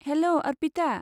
हेल', Arpita.